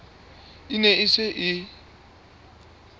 e ne e se e